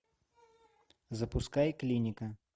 запускай клиника